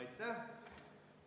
Aitäh!